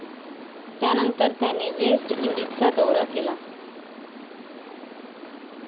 त्यानंतर त्याने वेस्ट इंडिजचा दौरा केला